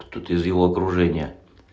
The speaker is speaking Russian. кто-то из его окружения